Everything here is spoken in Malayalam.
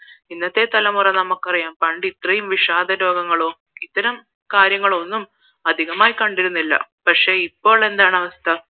ഇന്നത്തെ തലമുറ നമുക്ക് അറിയാം പണ്ട് ഇത്രയും വിഷാദ രോഗങ്ങളോ ഇത്തരം കാര്യങ്ങൾ ഒന്നും അധികമായി കണ്ടിരുന്നില്ല പക്ഷേ ഇപ്പോൾ എന്താണ് അവസ്ഥ